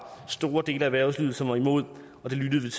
store dele af erhvervslivet som var imod og det lyttede